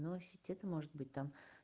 носите это может быть там